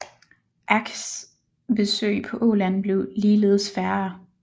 Ackes besøg på Åland blev ligeledes færre